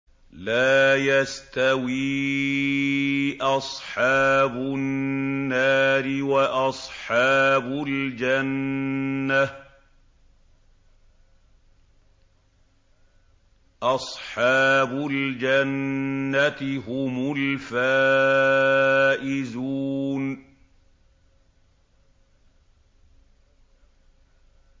لَا يَسْتَوِي أَصْحَابُ النَّارِ وَأَصْحَابُ الْجَنَّةِ ۚ أَصْحَابُ الْجَنَّةِ هُمُ الْفَائِزُونَ